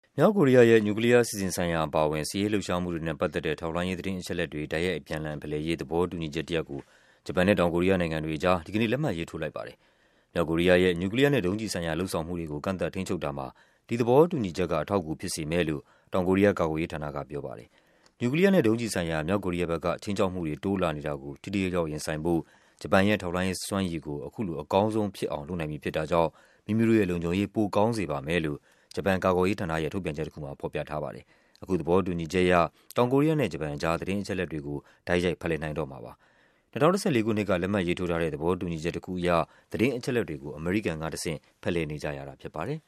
မြောက်ကိုရီးယားရဲ့ နျူကလီးယားအစီအစဉ်ဆိုင်ရာ အပါအဝင် စစ်ရေးလှုပ်ရှားမှုတွေနဲ့ပတ်သက်တဲ့ ထောက်လှမ်းရေး သတင်း အချက်အလက်တွေ အပြန်အလှန်ဖလှယ်ရေး သဘောတူညီချက်တရပ်ကို ဂျပန်နဲ့ တောင်ကိုရီးယားနိုင်ငံတွေအကြား ဒီကနေ့ လက်မှတ်ရေးထိုးလိုက်ပါတယ်။ မြောက်ကိုရီးယားရဲ့ နျူကလီးယားနဲ့ ဒုံးကျည်ဆိုင်ရာ လုပ်ဆောင်မှုတွေကို ကန့်သတ် ထိန်းချုပ်တာမှာ ဒီသဘောတူူညီချက်က အထောက်အကူဖြစ်စေမယ်လို့ တောင်ကိုရီးယား ကာကွယ်ရေးဌာနက ပြောပါတယ်။ နျူကလီးယားနဲ့ ဒုံးကျည်ဆိုင်ရာ မြောက်ကိုရီးယားဘက်က ခြိမ်းခြောက်မှုတွေ တိုးလာနေတာကို ထိထိရောက်ရောက် ရင်ဆိုင်ဖို့ ဂျပန်ရဲ့ထောက်လှမ်းရေးစွမ်းရည်ကို အခုဆို အကောင်းဆုံးဖြစ်အောင် လုပ်နိုင်ပြီဖြစ်တာကြောင့် မိမိတို့ရဲ့ လုံခြုံရေး ပိုကောင်းစေ ပါမယ်လို့ ဂျပန်ကာကွယ်ရေးဌာနရဲ့ ထုတ်ပြန်ချက်တခုမှာ ဖော်ပြထားပါတယ်။ အခုသဘောတူညီချက်အရ တောင်ကိုရီးယားနဲ့ ဂျပန်အကြား သတင်းအချက်အလက်တွေကို တိုက်ရိုက် ဖလှယ်နိုင်တော့မှာပါ။ ၂၀၁၄ ခုနှစ်က လက်မှတ် ရေးထိုးထားတဲ့ သဘောတူညီချက်တခုအရ သတင်းအချက်အလက်တွေကို အမေရိကန်ကတဆင့် ဖလှယ်နေကြရတာဖြစ်ပါတယ်။